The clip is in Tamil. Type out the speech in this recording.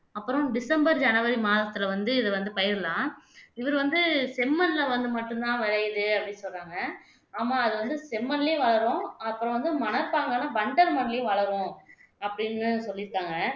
அப்புறம் டிசம்பர் ஜனவரி மாதத்துல வந்து இதை வந்து பயிரலாம் இவரு வந்து செம்மண்ல வந்து மட்டும்தான் விளையுது அப்படீன்னு சொல்றாங்க ஆமா அது வந்து செம்மண்லையே வளரும் அப்புறம் வந்து மணற்பாங்கான வண்டல் மண்ணிலும் வளரும் அப்படீன்னு சொல்லிருக்காங்க